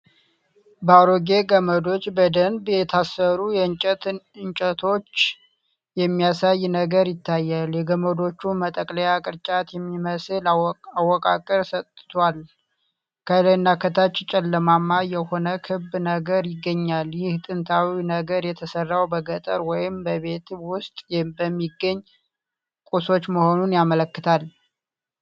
በአሮጌ ገመዶች በደንብ የታሰሩ የእንጨት እንጨቶችን የሚያሳይ ነገር ይታያል። የገመዶቹ መጠቅለያ ቅርጫት የሚመስል አወቃቀር ሰጥቷል፤ ከላይና ከታች ጨለማማ የሆነ ክብ ነገር ይገኛል። ይህ ጥንታዊ ነገር የተሠራው በገጠር ወይንም በቤት ውስጥ በሚገኙ ቁሶች መሆኑን ያመላክታል።